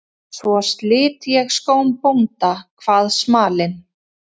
Svo slit ég skóm bónda, kvað smalinn.